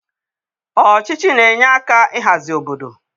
Ọchịchị na-enye aka ịhazi obodo.